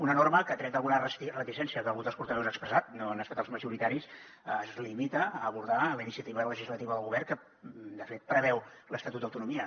una norma que tret d’alguna reticència que algun dels portaveus ha expressat no han estat els majoritaris es limita a abordar la iniciativa legislativa del govern que de fet preveu l’estatut d’autonomia